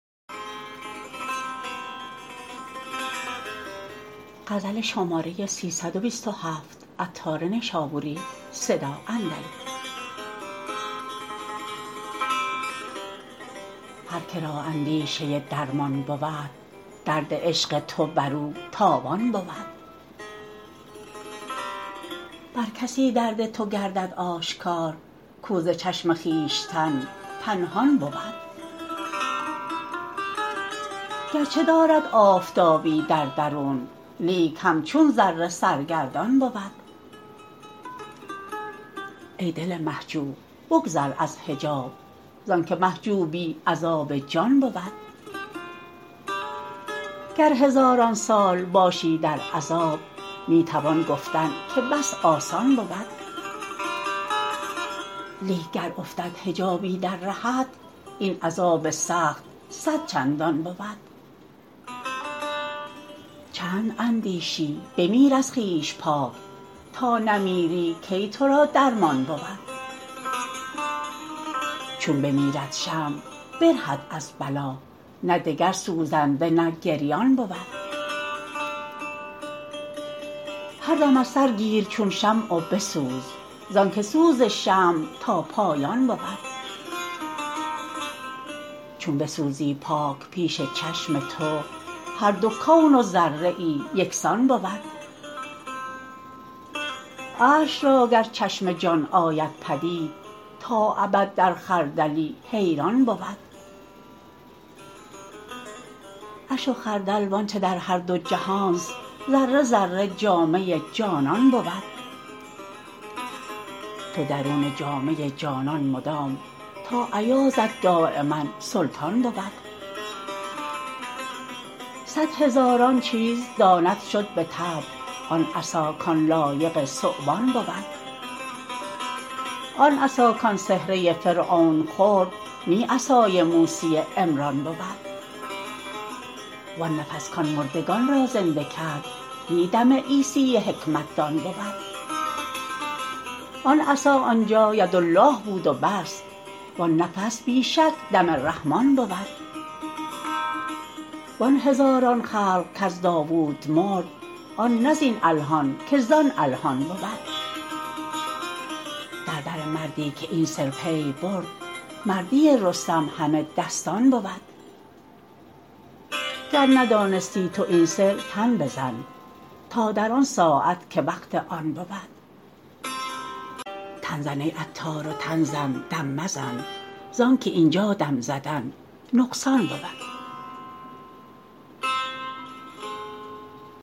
هر که را اندیشه درمان بود درد عشق تو برو تاوان بود بر کسی درد تو گردد آشکار کو ز چشم خویشتن پنهان بود گرچه دارد آفتابی در درون لیک همچون ذره سرگردان بود ای دل محجوب بگذر از حجاب زانکه محجوبی عذاب جان بود گر هزاران سال باشی در عذاب می توان گفتن که بس آسان بود لیک گر افتد حجابی در رهت این عذاب سخت صد چندان بود چند اندیشی بمیر از خویش پاک تا نمیری کی تو را درمان بود چون بمیرد شمع برهد از بلا نه دگر سوزنده نه گریان بود هر دم از سر گیر چو شمع و بسوز زانکه سوز شمع تا پایان بود چون بسوزی پاک پیش چشم تو هر دو کون و ذره ای یکسان بود عرش را گر چشم جان آید پدید تا ابد در خردلی حیران بود عرش و خردل و آنچه در هر دو جهان است ذره ذره جامه جانان بود تو درون جامه جانان مدام تا ایازت دایما سلطان بود صد هزاران چیز داند شد به طبع آن عصا کان لایق ثعبان بود آن عصا کان سحره فرعون خورد نی عصای موسی عمران بود وان نفس کان مردگان را زنده کرد نی دم عیسی حکمت دان بود آن عصا آنجا یدالله بود و بس وان نفس بی شک دم رحمان بود وان هزاران خلق کز داود مرد آن نه زین الحان که زان الحان بود در بر مردی که این سر پی برد مردی رستم همه دستان بود گر ندانستی تو این سر تن بزن تا در آن ساعت که وقت آن بود تن زن ای عطار و تن زن دم مزن زانکه اینجا دم زدن نقصان بود